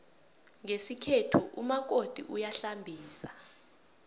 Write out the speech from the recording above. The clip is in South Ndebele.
ngesikhethu umakoti uyahlambisa